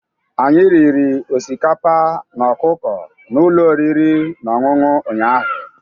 Anyị riri osikapa na ọkụkọ na ụlọ oriri na ọṅụṅụ ụnyaahụ.